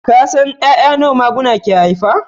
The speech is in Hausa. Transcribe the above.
Ka san 'ya'ya nawa maguna ke haifa